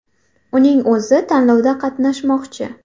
Uning o‘zi tanlovda qatnashmoqchi.